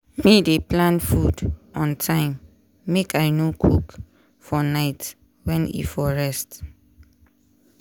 me dey plan food on time make i no cook for night wen i for rest.